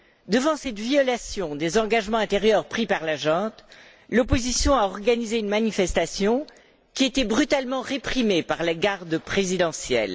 Devant cette violation des engagements antérieurs pris par la junte, l'opposition a organisé une manifestation qui a été brutalement réprimée par la garde présidentielle.